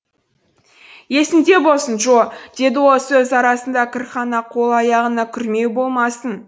есіңде болсын джо деді ол сөз арасында кірхана қол аяғыңа күрмеу болмасын